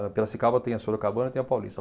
Piracicaba tem a Sorocabana e tem a Paulista.